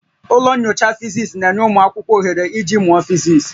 Ụlọ nyocha Fisis na-enye ụmụ akwụkwọ ohere iji mụọ physics